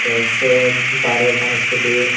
teh seh bareh ekkan iscoti.